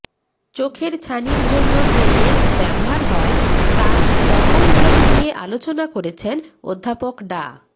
চোখের ছানির জন্য যে লেন্স ব্যবহার হয় তার রকমভেদ নিয়ে আলোচনা করেছেন অধ্যাপক ডা